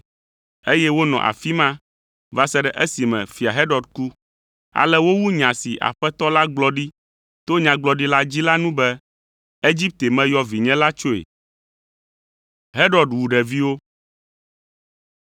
eye wonɔ afi ma va se ɖe esime Fia Herod ku. Ale wowu nya si Aƒetɔ la gblɔ ɖi to nyagblɔɖila dzi la nu be, “Egipte meyɔ vinye la tsoe.”